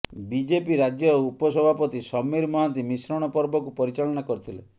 BJP ରାଜ୍ୟ ଉପସଭାପତି ସମୀର ମହାନ୍ତି ମିଶ୍ରଣ ପର୍ବକୁ ପରିଚାଳନା କରିଥିଲେ